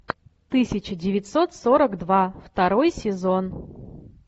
тысяча девятьсот сорок два второй сезон